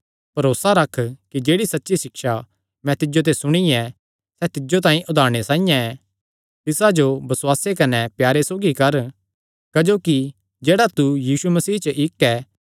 भरोसा रख कि जेह्ड़ी सच्ची सिक्षा तैं मिन्जो ते सुणी ऐ सैह़ तिज्जो तांई उदारणे साइआं ऐ तिसा जो बसुआसे कने प्यारे सौगी कर क्जोकि जेह्ड़ा तू यीशु मसीह च इक्क ऐ